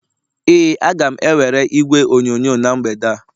Ee, a ga m ewere igwe onyonyo na mgbede a